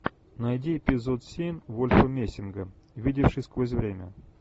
найди эпизод семь вольфа мессинга видевший сквозь время